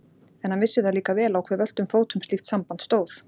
En hann vissi það líka vel á hve völtum fótum slíkt samband stóð.